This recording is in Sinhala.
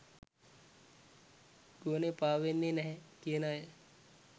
ගුවනේ පාවෙන්නේ නැහැ කියන අය